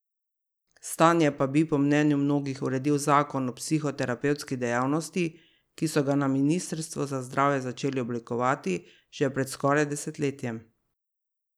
Stanje pa bi, po mnenju mnogih, uredil zakon o psihoterapevtski dejavnosti, ki so ga na ministrstvu za zdravje začeli oblikovati že pred skoraj desetletjem.